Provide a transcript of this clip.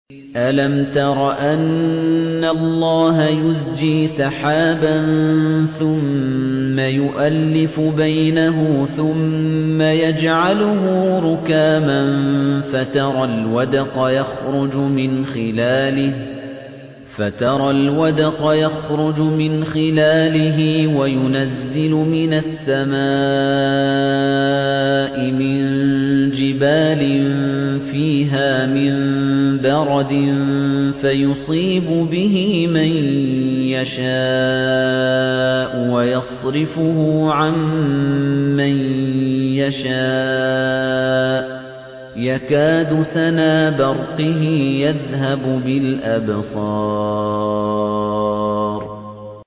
أَلَمْ تَرَ أَنَّ اللَّهَ يُزْجِي سَحَابًا ثُمَّ يُؤَلِّفُ بَيْنَهُ ثُمَّ يَجْعَلُهُ رُكَامًا فَتَرَى الْوَدْقَ يَخْرُجُ مِنْ خِلَالِهِ وَيُنَزِّلُ مِنَ السَّمَاءِ مِن جِبَالٍ فِيهَا مِن بَرَدٍ فَيُصِيبُ بِهِ مَن يَشَاءُ وَيَصْرِفُهُ عَن مَّن يَشَاءُ ۖ يَكَادُ سَنَا بَرْقِهِ يَذْهَبُ بِالْأَبْصَارِ